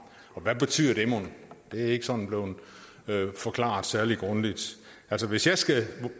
og hvad betyder det mon det er ikke sådan blevet forklaret særlig grundigt hvis jeg skal